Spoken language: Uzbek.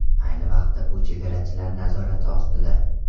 Ayni vaqtda u chegarachilar nazorati ostida.